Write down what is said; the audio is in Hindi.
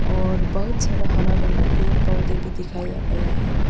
और बहुत सारा हरा भरा पेड़ पौधे भी दिखाया गया है।